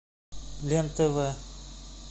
лен тв